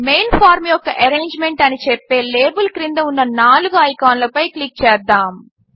main form యొక్క arrangement అని చెప్పే లేబిల్ క్రింద ఉన్న నాలుగు ఐకాన్లపై క్లిక్ చేద్దాము